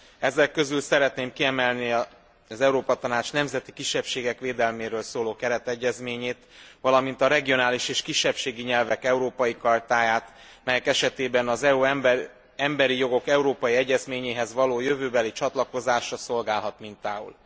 Ezek közül szeretném kiemelni az Európa Tanács nemzeti kisebbségek védelméről szóló keretegyezményét, valamint a regionális és kisebbségi nyelvek európai chartáját, melyek esetében az EU emberi jogok egyezményéhez való jövőbeli csatlakozása szolgálhat mintául.